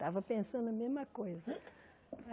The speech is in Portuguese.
Estava pensando a mesma coisa.